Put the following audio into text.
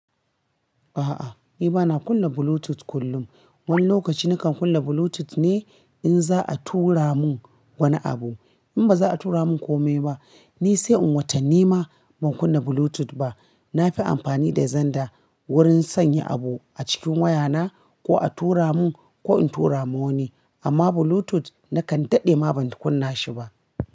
A'a, ni bana kunna Bluetooth kullum. Wani lokaci nakan kunna Bluetooth ne in za a tura mun wani abu. In ba za a tura mun kome ba, ni sai in watta ni ma ban kunna Bluetooth ba. Na fi amfani da zanda wurin sanya abu a cikin waya ta ko a tura mun ko in tura ma wani. Amma Bluetooth nakan daɗe ma ban kunna shi ba.